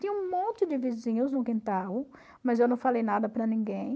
Tinha um monte de vizinhos no quintal, mas eu não falei nada para ninguém.